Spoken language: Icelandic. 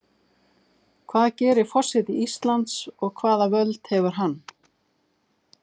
Hvað gerir forseti Íslands og hvaða völd hefur hann?.